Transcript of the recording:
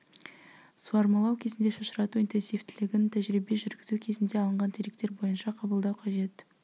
суармалау кезінде шашырату интенсивтілігін тәжірибе жүргізу кезінде алынған деректер бойынша қабылдау қажет